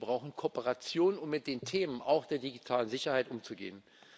Wir brauchen Kooperation, um mit den Themen auch der digitalen Sicherheit umzugehen.